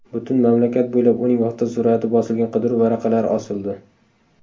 Butun mamlakat bo‘ylab uning fotosurati bosilgan qidiruv varaqalari osildi.